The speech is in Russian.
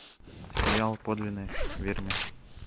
сериал подлинный вермеер